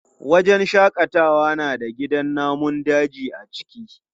Wajen shaƙatawa na da gidan namun daji a ciki.